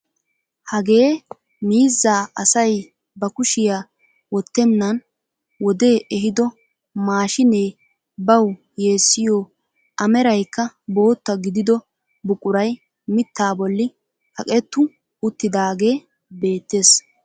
Hagee miizzaa asay ba kushiyaa wottenan wodee ehido maashshinee bawu yeessiyoo a meraykka bootta gidido buquray miittaa bolli kaqettu uttidagee beettees.